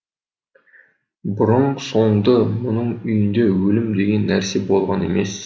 бұрын соңды мұның үйінде өлім деген нәрсе болған емес